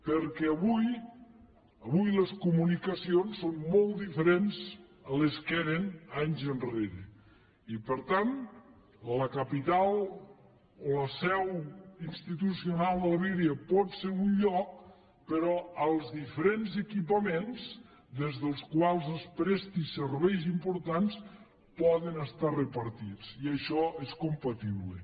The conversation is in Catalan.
perquè avui les comunicacions són molt diferents de com eren anys enrere i per tant la capital o la seu institucional de la vegueria pot ser a un lloc però els diferents equipaments des dels quals es prestin serveis importants poden estar repartits i això és compatible